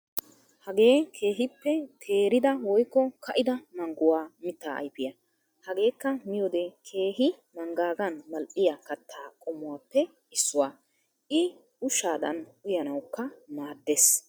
Hagee keehippe teerida woykko kaa'ida mangguwaa mittaa ayfiyaa. Hageekka miyiyoode keehi mangaagan mal"iyaa kattaa qommuwaappe issuwaa. i ushaadan uyanawukka maddees.